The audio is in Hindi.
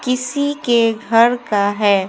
किसी के घर का है।